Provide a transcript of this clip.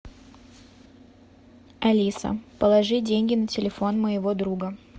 алиса положи деньги на телефон моего друга